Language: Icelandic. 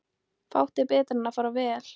Fátt er betra en fara vel.